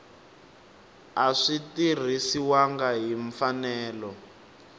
a swi tirhisiwangi hi mfanelo